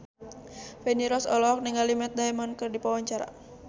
Feni Rose olohok ningali Matt Damon keur diwawancara